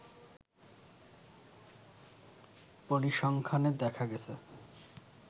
পরিসংখ্যানে দেখা গেছে